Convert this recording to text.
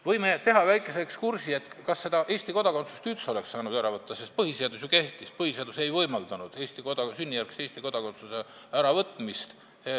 Võime teha väikese ekskursi, kas Eesti kodakondsust oleks üldse saanud ära võtta, sest põhiseadus ju kehtis ja see ei võimaldanud sünnijärgse Eesti kodakondsuse äravõtmist.